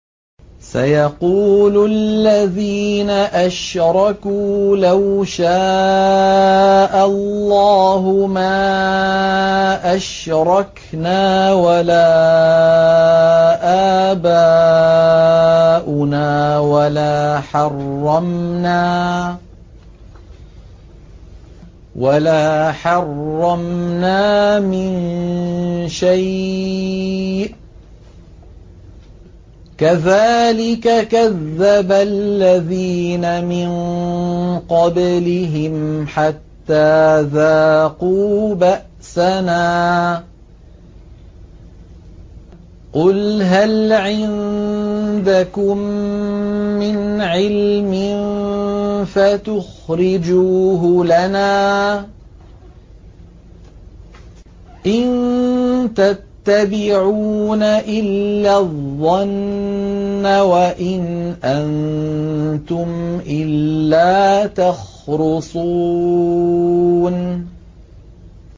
سَيَقُولُ الَّذِينَ أَشْرَكُوا لَوْ شَاءَ اللَّهُ مَا أَشْرَكْنَا وَلَا آبَاؤُنَا وَلَا حَرَّمْنَا مِن شَيْءٍ ۚ كَذَٰلِكَ كَذَّبَ الَّذِينَ مِن قَبْلِهِمْ حَتَّىٰ ذَاقُوا بَأْسَنَا ۗ قُلْ هَلْ عِندَكُم مِّنْ عِلْمٍ فَتُخْرِجُوهُ لَنَا ۖ إِن تَتَّبِعُونَ إِلَّا الظَّنَّ وَإِنْ أَنتُمْ إِلَّا تَخْرُصُونَ